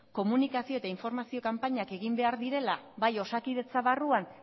komunikazio eta informazio kanpainak egin behar direla bai osakidetza barruan